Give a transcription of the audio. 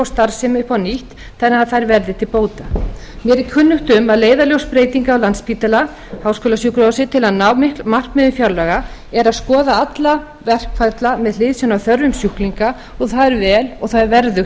starfsemi upp á nýtt þannig að þær verði til bóta mér er kunnugt um að leiðarljós breytinga á landspítala háskólasjúkrahúsi til að ná markmiðum fjárlaga er að skoða alla verkferla með hliðsjón af þörfum sjúklinga og það er vel og það er verðugt